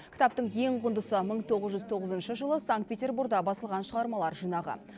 кітаптың ең құндысы мың тоғыз жүз тоғызыншы жылы санкт петербурда басылған шығармалар жинағы